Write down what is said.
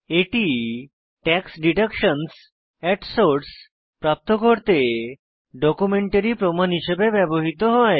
এটি টাক্স ডিডাকশনসহ at source প্রাপ্ত করতে ডকুমেন্টারী প্রমাণ হিসেবে ব্যবহৃত হয়